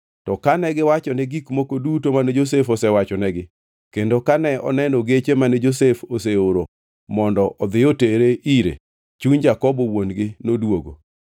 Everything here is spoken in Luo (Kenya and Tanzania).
To kane giwachone gik moko duto mane Josef osewachonegi kendo kane oneno geche mane Josef oseoro mondo odhi otere ire, chuny Jakobo wuon-gi noduogo.